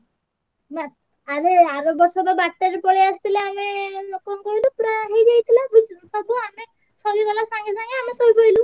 ହେଲା ଆମେ ଆରବର୍ଷ ତ ବାରଟାରେ ପଳେଈ ଆସିଥିଲେ ଆମେ କଣ କହିଲୁ ପୁରା ହେଇଯାଇଥିଲା ସବୁ ସରିଗଲା ସଙ୍ଗେ ସଙ୍ଗେ ଆମେ ଶୋଇପଡିଲୁ।